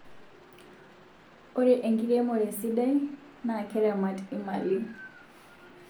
Ore enkiremore sidai na keramat imalii